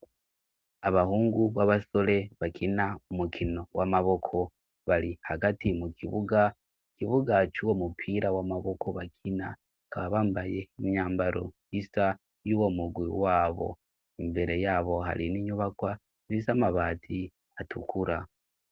Abahungu b'abasore bakina umukino w'amaboko bari hagati mu kibuga; ikibuga c' uwo mupira w'amaboko bakina, bakaba bambaye imyambaro isa y'uwo murwi wabo. Imbere yabo hari n'inyubakwa z' amabati atukura.